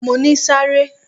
Mo ní sáré!